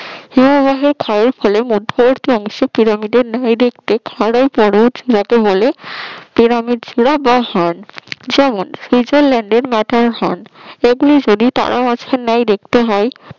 হিমাবয় ক্ষয়ের ফলে মধ্যবিত্ত অংশে পিরামিডের ন্যায় দেখতে খরবরচ মত হলে পিরামিড ফিলা বা হর্ন যেমন সূর্য সুইজারল্যান্ড এর ম্যাটার হর্ন এগুলো যদি তারা মাছের ন্যায় দেখতে হয়